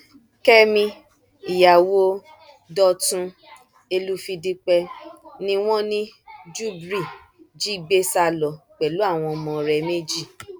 kẹmi ìyàwó dọtún èlùfìdípẹ ni wọn ní júbrì jí gbé sá lọ pẹlú àwọn ọmọ rẹ méjì